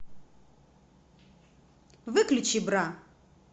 выключи бра